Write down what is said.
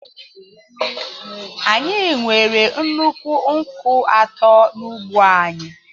Anyị nwere nnukwu nkwụ atọ n’ugbo anyị.